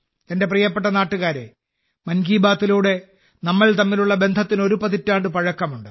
എന്റെ പ്രിയപ്പെട്ട നാട്ടുകാരേ മൻ കി ബാത്തിലൂടെ നമ്മൾ തമ്മിലുള്ള ബന്ധത്തിന് ഒരു പതിറ്റാണ്ട് പഴക്കമുണ്ട്